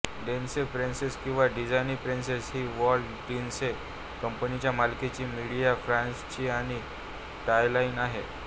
Disney princess किंवा Disney princess ही Walt Disney कंपनीच्या मालकीची मीडिया फ्रँचायझी आणि टॉयलाइन आहे